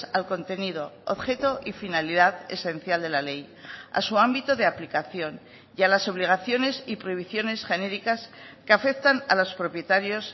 al contenido objeto y finalidad esencial de la ley a su ámbito de aplicación y a las obligaciones y prohibiciones genéricas que afectan a los propietarios